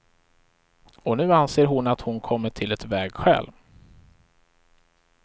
Och nu anser hon att hon kommit till ett vägskäl.